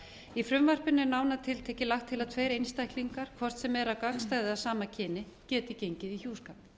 í frumvarpinu er nánar tiltekið lagt til að tveir einstaklingar hvort sem er að gagnstæða eða sama kyni geti gengið í hjúskap